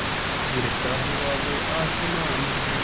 गिरता हुआ वो आसमां से